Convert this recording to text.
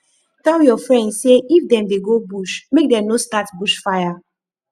tell your friends sey if dem dey go bush make dem no start bush fire